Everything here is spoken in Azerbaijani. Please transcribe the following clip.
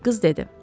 Qız dedi.